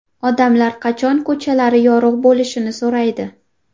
Odamlar qachon ko‘chalari yorug‘ bo‘lishini so‘raydi.